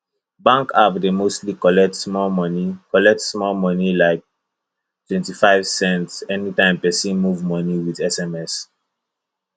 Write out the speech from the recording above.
bank app dey mostly collect small money collect small money like 25 cents anytime person move money with sms